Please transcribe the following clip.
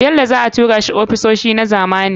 Bello za a tura shi ofisoshi na zamani.